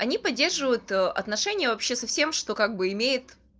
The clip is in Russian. они поддерживают отношения вообще совсем что как бы имеет